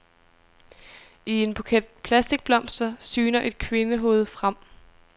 I en buket plastikblomster syner et kvindehoved frem.